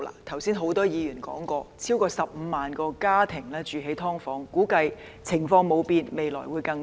剛才很多議員也提及，超過15萬個家庭居於"劏房"，估計如果情況不變，未來會有更多。